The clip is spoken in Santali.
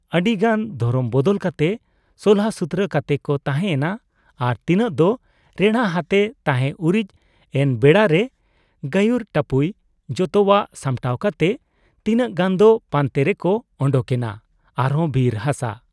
ᱟᱹᱰᱤ ᱜᱟᱱ ᱫᱷᱚᱨᱚᱢ ᱵᱚᱫᱚᱞ ᱠᱟᱛᱮ ᱥᱚᱞᱦᱟᱥᱩᱛᱨᱟᱹ ᱠᱟᱛᱮ ᱠᱚ ᱛᱟᱦᱮᱸ ᱭᱮᱱᱟ ᱟᱨ ᱛᱤᱱᱟᱹᱜ ᱫᱚ ᱨᱮᱬᱦᱟᱛᱮ ᱛᱟᱦᱮᱸ ᱩᱨᱤᱡ ᱮᱱ ᱵᱮᱲᱟᱨᱮ ᱜᱟᱹᱭᱩᱨ ᱴᱟᱹᱯᱩᱭ ᱡᱚᱛᱚᱣᱟᱜ ᱥᱟᱢᱴᱟᱣ ᱠᱟᱛᱮ ᱛᱤᱱᱟᱹᱜ ᱜᱟᱱ ᱫᱚ ᱯᱟᱱᱛᱮ ᱨᱮᱠᱚ ᱚᱰᱚᱠ ᱮᱱᱟ ᱟᱨᱦᱚᱸ ᱵᱤᱨ ᱦᱟᱥᱟ ᱾